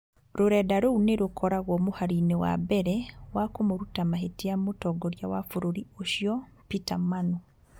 Rũrenda rũu nĩ rũkoragwo mũhari-inĩ wa mbere wa kũmũruta mahĩtia mũtongoria wa bũrũri ũcio, Peter manu